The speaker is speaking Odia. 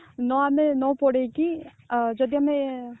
ନ ଆମେ ନ ପୋଡିକି ଅ ଯଦି ଆମେ